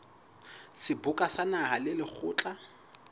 seboka sa naha le lekgotla